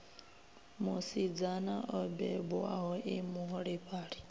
musidzana o bebwaho e muholefhali